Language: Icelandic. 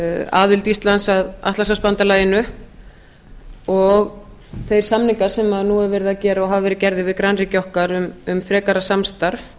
aðild íslands að atlantshafsbandalaginu og þeir samningar sem nú er verið að gera og hafa verið gerðir við grannríki okkar um frekara samstarf